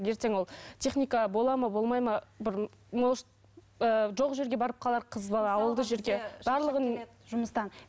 ертең ол техника болады ма болмайды ма бір может ыыы жоқ жерге барып қалар қыз бала ауылдық жерде